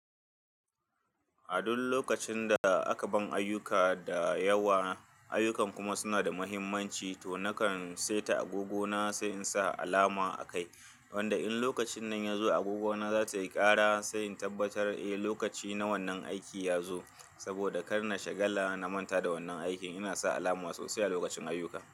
A duk lokacin da aka ban ayuka da yawa, ayukan kuma suna da muhimmanci to nakan seta agogona sai in sa alama a kai. Wanda in lokacin nan ya zo agogona za ta yi kara sai in tabbatar eh lokaci na wannan aiki ya zo. Saboda kar na shagala na manta da wannan aikin, ina sa alama sosai a lokacin ayuka.